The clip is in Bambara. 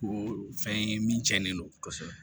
Ko fɛn ye min cɛnnen don kosɛbɛ